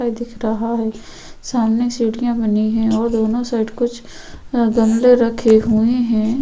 दिख रहा है| सामने सीढ़िया बनी है और दोनों साइड कुछ अ गमले रखे हुए है।